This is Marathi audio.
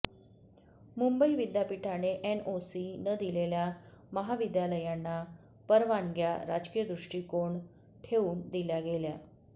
मुंबई विद्यापीठाने एनओसी न दिलेल्या महाविद्यालयांना परवानग्या राजकीयदृष्टीकोण ठेऊन दिल्या गेल्या